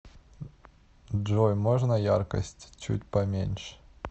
джой можно яркость чуть поменьше